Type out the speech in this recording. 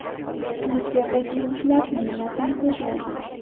Twitter’dagi yulduzlar nimalardan so‘zlaydi?.